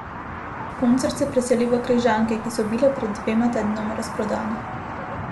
Koncert so preselili v Križanke, ki so bile pred dvema tednoma razprodane.